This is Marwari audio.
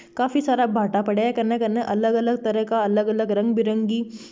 काफी सारा भाटा पड़ा है कन कन अलग तरह अलग रंगबिरंगी--